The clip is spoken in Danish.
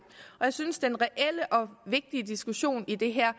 og jeg synes at den reelle og vigtige diskussion i det her